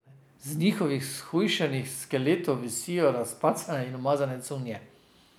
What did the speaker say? Z njihovih shujšanih skeletov visijo razcapane in umazane cunje.